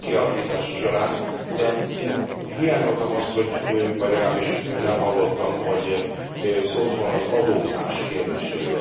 kialakítása során, de én hiányoltam azt, vagy legalábbis nem hallottam, hogy szólt volna az adózás kérdéséről.